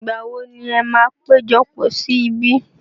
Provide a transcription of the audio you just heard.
Ìgbà wo ni ẹ máa péjọpọ̀ sí ibí?